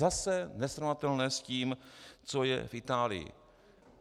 Zase nesrovnatelné s tím, co je v Itálii.